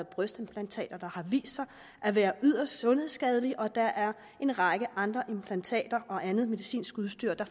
brystimplantater der har vist sig at være yderst sundhedsskadelige og der er en række andre implantater og andet medicinsk udstyr der